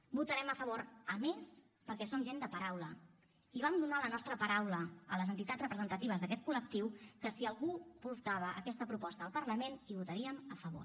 hi votarem a favor a més perquè som gent de paraula i vam donar la nostra paraula a les entitats representatives d’aquest col·lectiu que si algú portava aquesta proposta al parlament hi votaríem a favor